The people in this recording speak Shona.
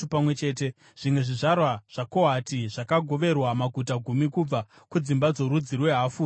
Zvimwe zvizvarwa zvaKohati zvakagoverwa maguta gumi kubva kudzimba dzorudzi rwehafu rwaManase.